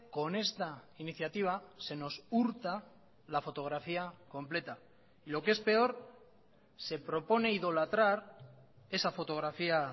con esta iniciativa se nos hurta la fotografía completa y lo que es peor se propone idolatrar esa fotografía